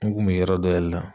N kun bi yɔrɔ dɔ de la.